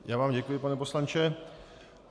Já vám děkuji, pane poslanče.